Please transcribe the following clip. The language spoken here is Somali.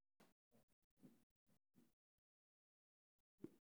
Waa maxay astamaha iyo calaamadaha cilada SAPHOGA ?